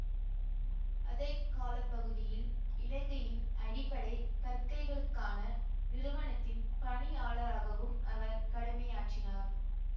அதே கால பகுதியில் இலங்கையின் அடிப்படை கற்கைகளுக்கான நிறுவனத்தின் பணியாளராகவும் அவர் கடமையாற்றினார்